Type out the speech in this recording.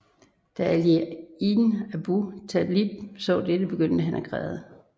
Da Ali ibn Abu Talib så dette begyndte han at græde